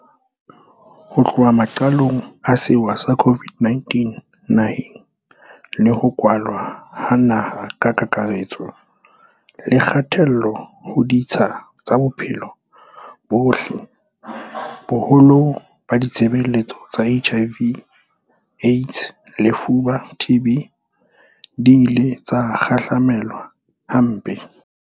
Ho tloha maqalong a sewa sa COVID-19 naheng, le ho kwalwa ha naha ka kakare-tso le kgatello ho ditsha tsa bophelo bo botle, boholo ba ditshebeletso tsa HIV, AIDS le lefuba, TB, di ile tsa kgahlamelwa hampe.